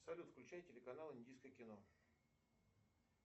салют включай телеканал индийское кино